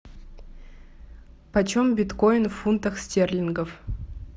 почем биткоин в фунтах стерлингов